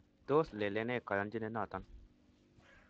Tos lelene koyonchinet noton